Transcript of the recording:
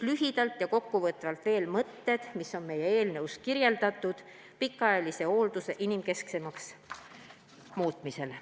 Lühidalt ja kokkuvõtvalt veel kord meie eelnõus kirjas olevad mõtted, kuidas pikaajaline hooldus inimkesksemaks muuta.